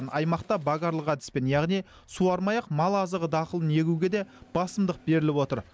аймақта богарлық әдіспен яғни суармай ақ мал азығы дақылын егуге де басымдық беріліп отыр